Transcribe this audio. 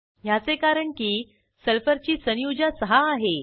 ह्याचे कारण की सल्फरची संयुजा सहा आहे